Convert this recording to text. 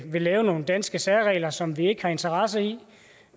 vil lave nogle danske særregler som vi ikke har interesse i